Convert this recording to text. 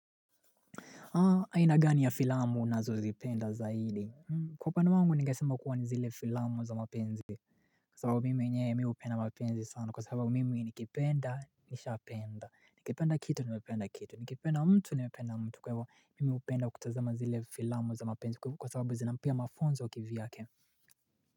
Aina gani ya filamu nazozipenda zaidi Kwa upande wangu ningesema kuwa ni zile filamu za mapenzi Kwa sababu mimi enyewe mi hupenda mapenzi sana kwa sababu mimi nikipenda nishapenda Nikipenda kitu nimependa kitu nikipenda mtu nimependa mtu kwa hivyo mimi hupenda kutazema zile filamu za mapenzi kwa sababu zinanipea mafunzo ya kivyake.